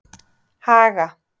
Haga